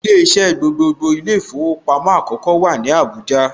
Ilé iṣẹ́ gbogbogbò ilé īfowòpamó àkókó wà ní Àbújá